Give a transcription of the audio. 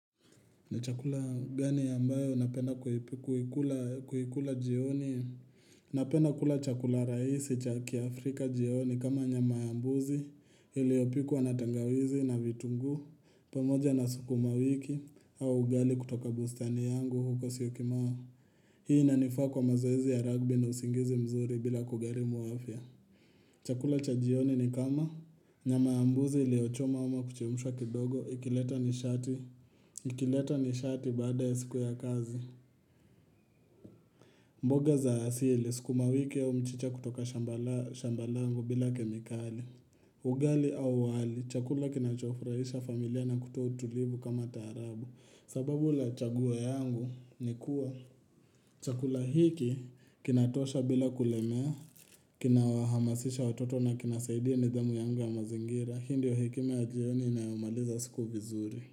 Ni chakula gani ambayo unapenda kuikula jioni? Napenda kula chakula rahisi cha kiafrika jioni kama nyama ya mbuzi iliyopikwa na tangawizi na vitunguu pamoja na sukuma wiki au ugali kutoka bustani yangu huko Syokimau. Hii inanifaa kwa mazoezi ya rugby na usingizi mzuri bila kugharimu afya. Chakula cha jioni ni kama nyama ya mbuzi iliyochomwa ama kuchemshwa kidogo, ikileta nishati. Ikileta nishati baada ya siku ya kazi mboga za asili, sukuma wiki au mchicha kutoka shamba langu bila kemikali Ugali au wali, chakula kinachofurahisha familia na kutoa utulivu kama taarabu. Sababu la chaguo yangu ni kuwa Chakula hiki kinatosha bila kulemea kina wahamasisha watoto na kinasaidia nidhamu yangu ya mazingira. Hii ndyo hekima ya jioni inayomaliza siku vizuri.